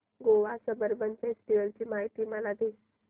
Goa Sunburn festival ची माहिती मला दे